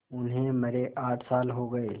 उन्हें मरे आठ साल हो गए